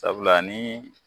Sabula ni